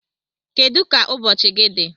Kedu ka ụbọchị gị dị?